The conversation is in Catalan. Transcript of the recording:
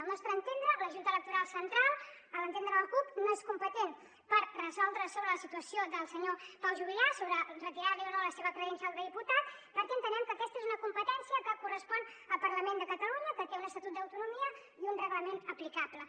al nostre entendre la junta electoral central a l’entendre de la cup no és competent per resoldre sobre la situació del senyor pau juvillà sobre retirar li o no la seva credencial de diputat perquè entenem que aquesta és una competència que correspon al parlament de catalunya que té un estatut d’autonomia i un reglament aplicable